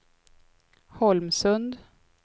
Holmsund